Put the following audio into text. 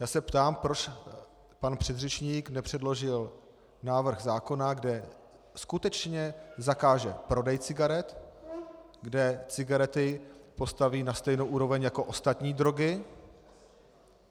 Já se ptám, proč pan předřečník nepředložil návrh zákona, kde skutečně zakáže prodej cigaret, kde cigarety postaví na stejnou úroveň jako ostatní drogy.